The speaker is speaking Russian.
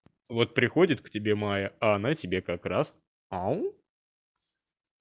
вот приходит к тебе мая а она тебе как раз ау